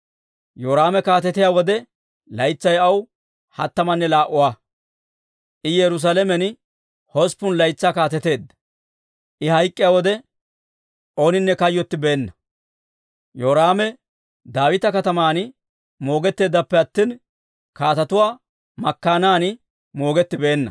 Yoraame kaatetiyaa wode, laytsay aw hattamanne laa"a; I Yerusaalamen hosppun laytsaa kaateteedda. I hayk'k'iyaa wode ooninne kayyottibeenna. Yoraame Daawita Kataman moogetteeddappe attina, kaatetuwaa makkaanan moogettibeenna.